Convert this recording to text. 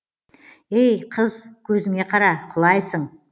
эй қыз көзіңе қара құлайсың